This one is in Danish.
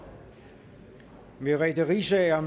merete riisager